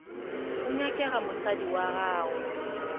go nyakega mosadi wa gago